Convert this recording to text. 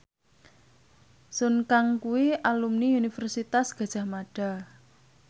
Sun Kang kuwi alumni Universitas Gadjah Mada